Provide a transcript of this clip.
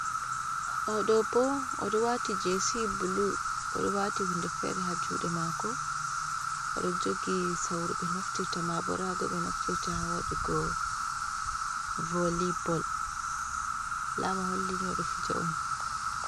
Ohɗo bo oɗo waati jins blu, oɗo wati hunde fere ha juɗe mako, oɗo jogi sauru ɓe naftirta mabo rago ɓe naftirta ha wadugo voli bol, alama holli ni oɗo fija on.